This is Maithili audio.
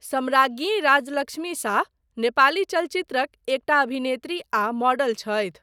सम्राज्ञी राज्यलक्ष्मी शाह नेपाली चलचित्रक एकटा अभिनेत्री आ मॉडल छथि।